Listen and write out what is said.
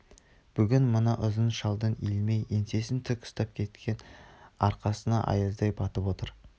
бүгін мына ұзын шалдың илмей еңсесін тік ұстап кеткен арқасына аяздай батып отыр